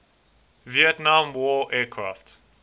vietnam war aircraft